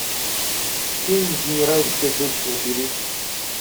фильм генеральская дочь набери